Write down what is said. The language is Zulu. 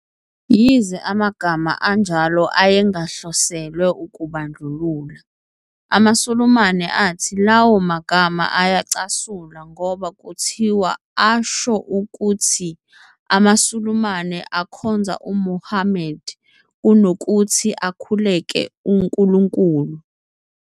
Yize amagama anjalo ayengahloselwe ukubandlulula, amaSulumane athi lawo magama ayacasula ngoba kuthiwa asho ukuthi amaSulumane akhonza uMuhammad kunokuthi akhulekele uNkulunkulu.